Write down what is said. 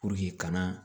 kana